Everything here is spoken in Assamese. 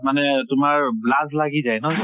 মানে তোমাৰ লাজ লাগি যায়, নহয় জানো?